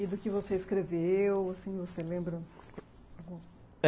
E do que você escreveu, assim, você lembra?